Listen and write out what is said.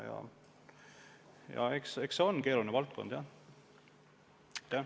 Aga see on keeruline valdkond tõesti.